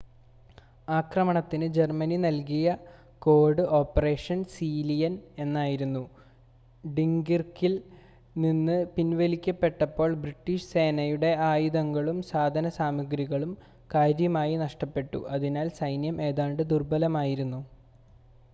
ആക്രമണത്തിന് ജർമ്മനി നൽകിയ code Operation Sea Lion എന്നായിരുന്നു ഡങ്കിർക്കിൽ നിന്ന് പിൻവലിക്കപ്പെട്ടപ്പോൾ ബ്രിട്ടീഷ് സേനയുടെ ആയുധങ്ങളും സാധനസാമഗ്രികളും കാര്യമായി നഷ്ടപ്പെട്ടു അതിനാൽ സൈന്യം ഏതാണ്ട് ദുർബലമായിരുന്നു